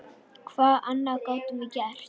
Hvað annað gátum við gert?